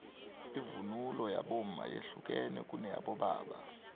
ivunulo yabomma yehlukene kuneyabobaba